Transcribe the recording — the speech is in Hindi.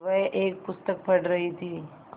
वह एक पुस्तक पढ़ रहीं थी